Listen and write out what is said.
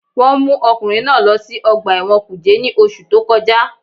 Wọ́n mú ọkùnrin náà lọ sí ọgbà ẹ̀wọ̀n kùjé ní oṣù tó kọjá